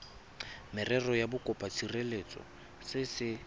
merero ya bokopatshireletso se se